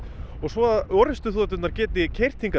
og svo að orrustuþoturnar geti keyrt hingað